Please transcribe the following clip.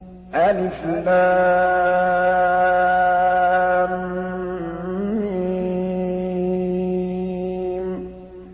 الم